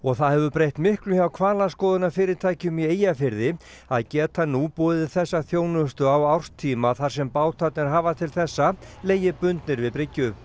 það hefur breytt miklu hjá hvalaskoðunarfyrirtækjum í Eyjafirði að geta nú boðið þessa þjónustu á árstíma þar sem bátarnir hafa til þessa legið bundnir við bryggju